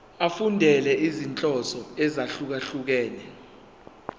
efundela izinhloso ezahlukehlukene